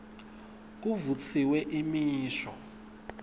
kuvutsiwe imisho